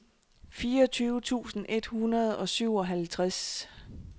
fireogtyve tusind et hundrede og syvoghalvtreds